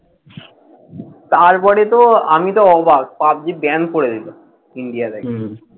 তারপরে তো আমি তো অবাক! পাবজি ban করে দিল ইন্ডিয়া থেকে।